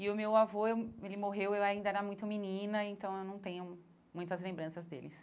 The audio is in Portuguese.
E o meu avô, ele morreu, eu ainda era muito menina, então eu não tenho muitas lembranças deles.